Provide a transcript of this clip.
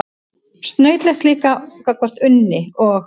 Snautlegt líka gagnvart Unni og